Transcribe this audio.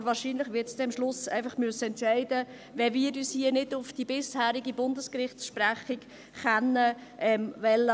Aber wahrscheinlich wird es am Schluss einfach entscheiden müssen, wenn wir uns hier nicht auf die bisherigen Bundesgerichtsentscheidungen abstützen können wollen.